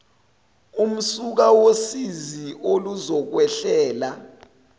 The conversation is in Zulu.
umsuka wosizi oluzokwehlela